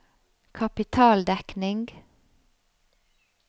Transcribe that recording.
kapitaldekning